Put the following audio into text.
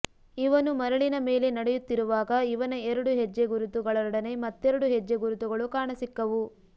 ಇವನು ಮರಳಿನ ಮೇಲೆ ನಡೆಯುತ್ತಿರುವಾಗ ಇವನ ಎರಡು ಹೆಜ್ಜೆ ಗುರುತು ಗಳೊಡನೆ ಮತ್ತೆರಡು ಹೆಜ್ಜೆ ಗುರುತುಗಳು ಕಾಣಸಿಕ್ಕವು